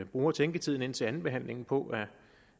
bruge tænketiden indtil andenbehandlingen på